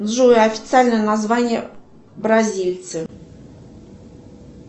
джой официальное название бразильцев